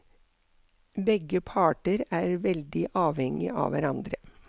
Begge parter er veldig avhengig av hverandre.